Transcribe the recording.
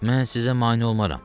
Mən sizə mane olmaram.